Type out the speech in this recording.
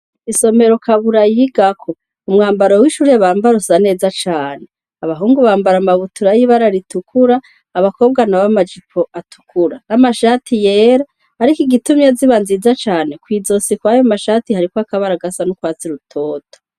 Isomero Kabura yigako umwambaro wishure usa neza cane abahungu bambara amabutura yibara ritukura abakobwa nabo amajipo atukura n'amashati yera ariko igituma ziba nziza cane kw'izosi kwayomashati hariko ibara risa nugwatsi rutoto.